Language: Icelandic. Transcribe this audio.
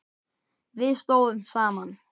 Við stóðum saman.